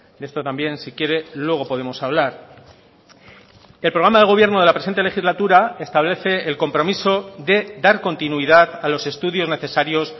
de esto también si quiere luego podemos hablar el programa de gobierno de la presente legislatura establece el compromiso de dar continuidad a los estudios necesarios